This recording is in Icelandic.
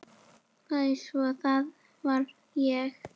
Sagði svo: Það var og